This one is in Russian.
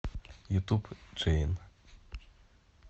ютуб джейн